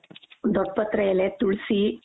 ದೊಡ್ಡ್ ಪತ್ರೆ ಎಲೆ ತುಳಸಿ.